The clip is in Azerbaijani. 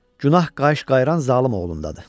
Günah qayışqayran zalım oğlundadır.